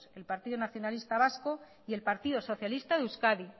el partido nacionalista vasco y el partido socialista de euskadi